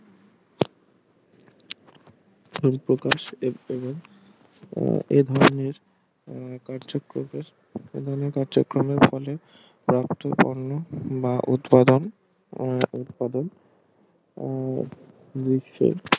সম্পর্ক এবং এভাবে কার্যক্রমের এভাবে কার্যক্রমের ফলে প্রাপ্ত পণ্য বা উৎপাদন উম বিশ্বের